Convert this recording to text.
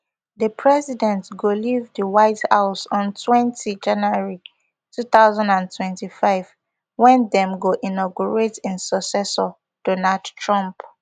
di president go leave di white house on twenty january two thousand and twenty-five wen dem go inaugurate im successor donald trump